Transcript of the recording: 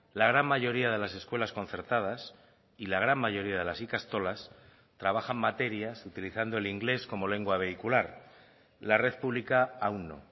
la gran mayoría de las escuelas concertadas y la gran mayoría de las ikastolas trabajan materias utilizando el inglés como lengua vehicular la red pública aun no